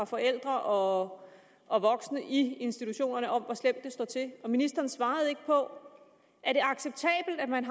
forældre og og voksne i institutionerne om hvor slemt det står til ministeren svarede ikke på er det acceptabelt at man